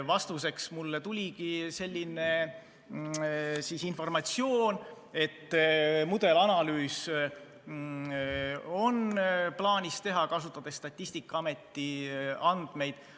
Vastuseks tuligi selline informatsioon, et mudelanalüüs on plaanis teha, kasutades Statistikaameti andmeid.